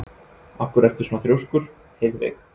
Af hverju ertu svona þrjóskur, Heiðveig?